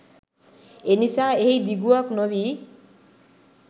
එනිසා එහි දිගුවක් නොවී